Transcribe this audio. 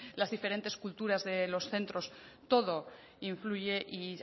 las diferentes culturas de los centros todo influye y